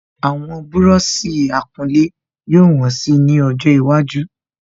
Àwọn búrọ̀sì akulé yóò wọ́n si ni ọjọ iwájú